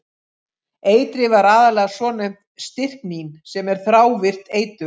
Eitrið var aðallega svonefnt stryknín sem er þrávirkt eitur.